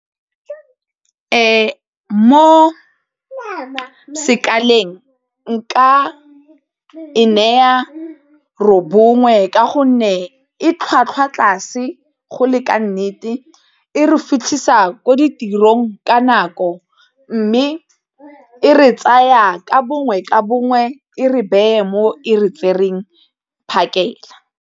Mo sekaleng nka e naya robongwe ka gonne e tlhwatlhwa tlase go le ka nnete, e re fitlhisa ko ditirong ka nako mme e re tsaya ka bongwe ka bongwe e re beye mo e re tsereng phakela.